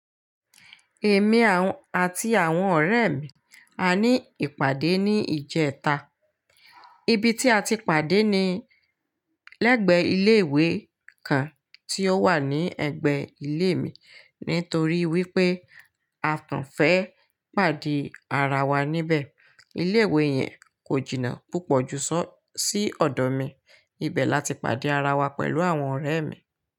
Èmi àti àwọn ọ̀rẹ́ mi, a ní ìpàdé ní ìjẹta. Ibi tí a ti pàdé ni lẹ́gbẹ̀ẹ́ ilé ìwé kan tí ó wà ní ẹ̀gbẹ́ ilé mi. Nítorí wípé a kàn fẹ́ pàdé ara wa níbẹ̀. Ilé ìwé yẹn kò jìnnà púpọ̀ ju sí ọ̀dọ̀ mi. Ibẹ̀ lati pàdé ara wa pẹ̀lú àwọn ọ̀rẹ́ ẹ̀ mi.